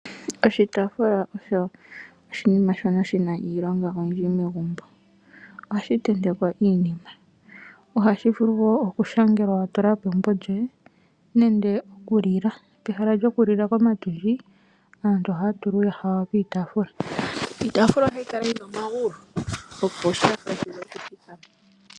Oshitaafula osho oshinima shono shina iilonga oyindji megumbo, ohashi tentekwa iinima ohashi vulu wo okushangelwa watulako embo lyoye. Nande okulilwa peha lyokulila komatundji aantu ohaya tula uuyaha wawo kiitafula. Iitafula ohayi kala yina omagulu, opo shi vule okuthikama.